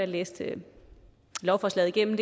læste lovforslaget igennem